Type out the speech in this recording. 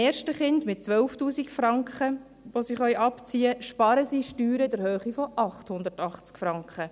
Mit 12 000 Franken, die sie abziehen können, sparen sie beim ersten Kind Steuern in der Höhe von 880 Franken.